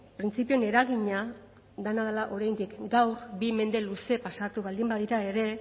printzipioen eragina dena dela oraindik gaur bi mende luze pasatu baldin badira ere